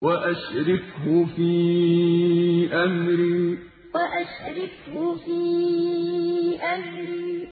وَأَشْرِكْهُ فِي أَمْرِي وَأَشْرِكْهُ فِي أَمْرِي